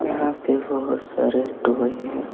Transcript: यहां पर बहुत सारे टॉय हैं।